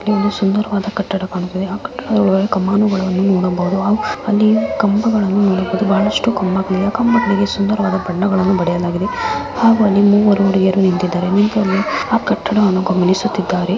ಇಲ್ಲಿ ಸುಂದರ ವಾದ ಕಟ್ಟಡ ವನ್ನು ಕಾಣಬಹುದು ಅಲ್ಲಿ ಕಂಬ ಗಳನ್ನು ನೋಡಬಹುದು ಬಹಳಸ್ಟ ಕಂಬಗಳು ಇವೆ ಕಂಬಗಳಿಗೆ ಸುಂದರ ವಾದ ಬಣ್ಣ ವನ್ನು ಬಡಿಯಲಾಗಿದೆ ಹಾಗೂ ಅಲ್ಲಿ ಮೂವರು ಹುಡುಗಿಯರು ನಿಂತಿದಾರೆ ಎ ಕಟ್ಟಡ ಅನ್ನು ವರ್ಣಿಸುತಿದಾರೆ.